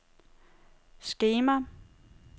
skema